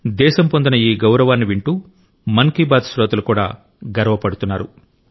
దేశం పొందిన ఈ గౌరవాన్ని వింటూ మన్ కి బాత్ శ్రోతలు కూడా గర్వపడుతున్నారు